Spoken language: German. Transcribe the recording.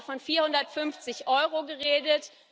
Und Sie haben da von 450 Euro geredet.